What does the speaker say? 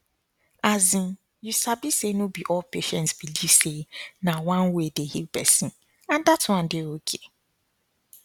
asin you sabi say no be all patients believe say na one way dey heal person and dat one dey ok